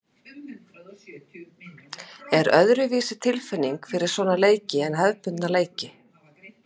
Er öðruvísi tilfinning fyrir svona leiki en hefðbundna deildarleiki?